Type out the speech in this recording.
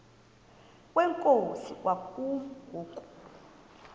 kwenkosi kwakumi ngoku